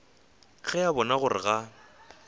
ge a bona gore ga